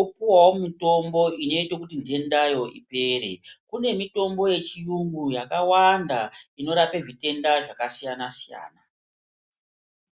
opuwawo mutombo unoita kuti ndendayo ipere kune mitombo yechirungu yakawanda inorapezviteda zvakasiyana siyaa.